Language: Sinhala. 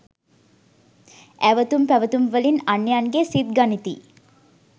ඇවතුම් පැවතුම් වලින් අන්‍යයන්ගේ සිත් ගනිති.